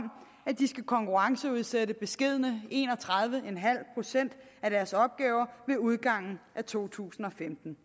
at de skal konkurrenceudsætte beskedne en og tredive procent af deres opgaver med udgangen af to tusind og femten